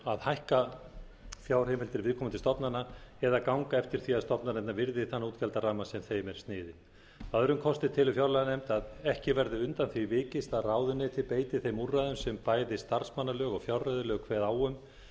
að hækka fjárheimildir viðkomandi stofnana eða ganga eftir því að stofnanir virði þann útgjaldaramma sem þeim er sniðinn að öðrum kosti telur fjárlaganefnd að ekki verði undan því vikist að ráðuneytin beiti þeim úrræðum sem bæði starfsmannalög og fjárreiðulög kveða á um